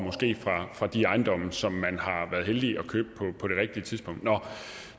fra de ejendomme som man har været heldig at købe på det rigtige tidspunkt nå